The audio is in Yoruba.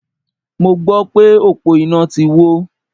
Mo gbọ́ pé òpó iná ti wó.